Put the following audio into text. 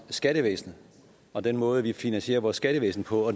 skattevæsenet og den måde vi finansierer vores skattevæsen på